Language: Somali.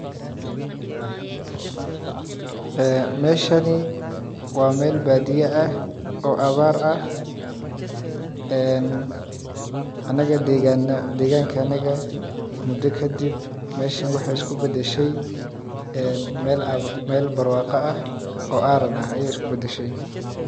Ee meshani waa meel baadiya ah oo abaar ah een anaga degaanka naga ah mudo kadib mesha waxey iskubadashey meel abaar ah oo aran ah ayeey iskubadashey.